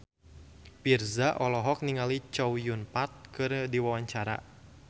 Virzha olohok ningali Chow Yun Fat keur diwawancara